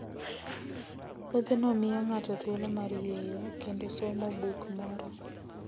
Wuodhno miyo ng'ato thuolo mar yueyo kendo somo buk moro.